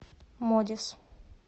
модис